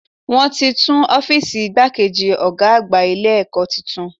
Wọ́n ti tún Ófììsì igbákejì Ọ̀gá àgbà Ilé ẹ̀kọ́ tuntun